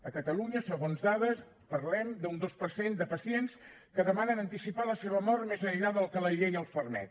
a catalunya segons dades parlem d’un dos per cent de pacients que demanen anticipar la seva mort més enllà del que la llei els permet